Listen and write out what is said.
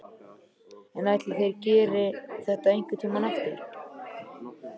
En ætli þær geri þetta einhvern tímann aftur?